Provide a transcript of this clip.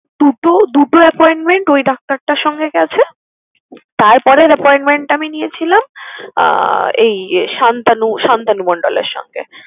দুটো দুটো appointment ওই ডাক্তারটার সঙ্গে গেছে। তারপরের appointment টা আমি নিয়েছিলাম আহ এই সান্তানু সান্তানু মণ্ডলের সঙ্গে।